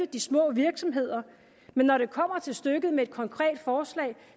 de små virksomheder men når det kommer til stykket med et konkret forslag